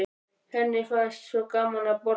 Henni fannst svo gaman að borða.